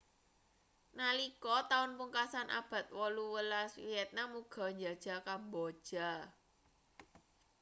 nalika taun pungkasan abad 18 vietnam uga njajah kamboja